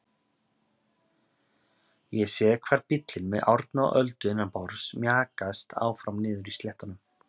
Ég sé hvar bíllinn með Árna og Öldu innanborðs mjakast áfram niðri á sléttunum.